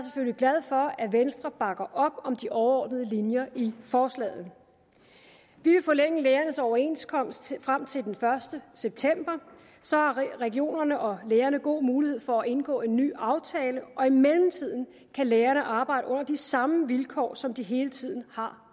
glad for at venstre bakker op om de overordnede linjer i forslaget vi vil forlænge lægernes overenskomst frem til den første september så har regionerne og lægerne god mulighed for at indgå en ny aftale og i mellemtiden kan lægerne arbejde under de samme vilkår som de hele tiden har